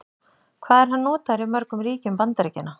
Hvað er hann notaður í mörgum ríkjum Bandaríkjanna?